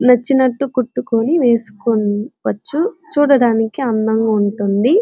నచ్చినట్టు కుట్టుకొని వేసుకోవచ్చు. చూడడానికి అందంగా ఉంటుంది.